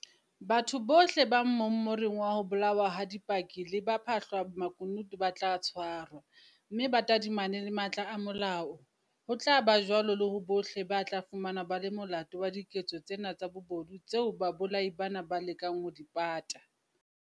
Batho bohle ba mmomoring wa ho bolawa ha dipaki le bapha hlamakunutu ba tla tshwarwa, mme ba tadimane le matla a molao, ho tla ba jwalo le ho bohle ba tla fumanwa ba le molato wa diketso tsena tsa bobodu tseo babolai bana ba lekang ho di pata.